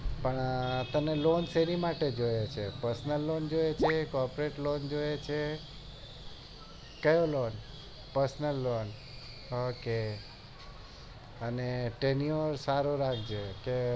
પણ તને lone શેની માટે જોઈએ છે prosnal loan જોઈએ એ છે ક croporate lone જોઈએ છે કયો lone parsonal lone ok અને સારો રાખજે